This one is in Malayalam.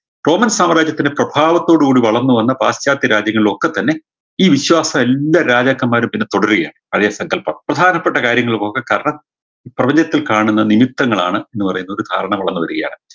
roman സാമ്രാജ്യത്തിന് പ്രഭാവത്തോട് കൂടി വളർന്നു വന്ന പാശ്ചാത്യ രാജ്യങ്ങളിലൊക്കെ തന്നെ ഈ വിശ്വാസം എല്ലാ രാജാക്കന്മാരും പിന്നെ തുടരുകയാണ് പഴേ സങ്കല്പം പ്രധാനപ്പെട്ട കാര്യങ്ങളുമൊക്കെ കാരണം പ്രപഞ്ചത്തിൽ കാണുന്ന നിമിത്തങ്ങളാണ് എന്ന് പറയുന്നത് ധാരണ വളർന്നു വരികയാണ്